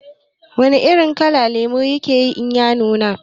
Wana irin kala lemo yake yi in ya nuna?